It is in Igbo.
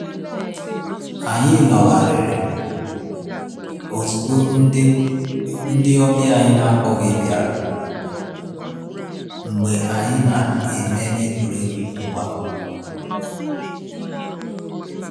Anyị nọgharịrị ozugbo ndị ndị ọbịa anyị n'akpoghi biara mgbe anyị na-eme egwuregwu mgba